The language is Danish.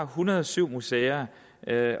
hundrede og syv museer